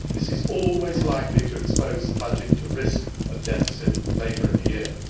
This is always likely to expose the budget to the risk of deficit later in the year.